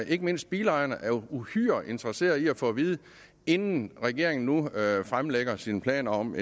ikke mindst bilejerne er uhyre interesserede i at få at vide inden regeringen nu fremlægger sine planer om